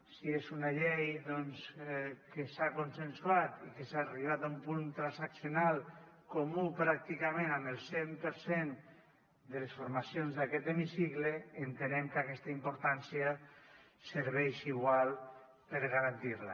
si és una llei que s’ha consensuat i que s’ha arribat a un punt transaccional comú pràcticament amb el cent per cent de les formacions d’aquest hemicicle entenem que aquesta importància serveix igualment per garantir la